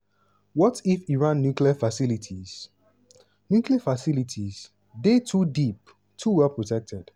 what if iran nuclear facilities nuclear facilities dey too deep too well protected?